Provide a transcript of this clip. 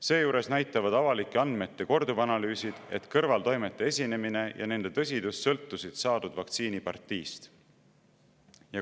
Seejuures näitavad avalike andmete korduvanalüüsid, et kõrvaltoimete esinemine ja nende tõsidus sõltusid saadud vaktsiini partiist.